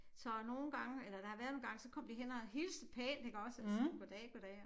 Så nogle gange eller der har været nogle gange så kom de hen og hilste pænt iggås og siger goddag goddag